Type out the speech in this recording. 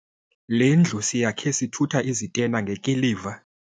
Le ndlu siyakhe sithutha izitena ngekiliva.